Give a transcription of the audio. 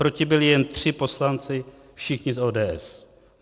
Proti byli jen tři poslanci, všichni z ODS.